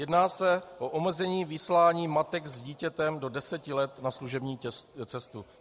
Jedná se o omezení vyslání matek s dítětem do deseti let na služební cestu.